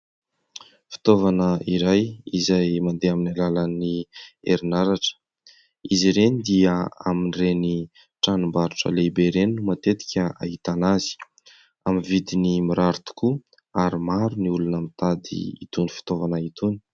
Fitaovana iray izay mandeha amin'ny alalan'ny herinaratra, izy ireny dia amin'ireny tranom-barotra lehibe ireny no matetika ahitana azy, amin'ny vidiny mirary tokoa ary maro ny olona mitady itony fitaovana itony.